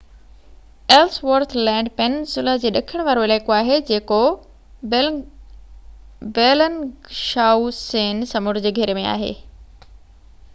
Ellsworth Land peninsula جي ڏکڻ وارو علائقو آهي جيڪو بيلنگشائوسين سمنڊ جي گهيري ۾ آهي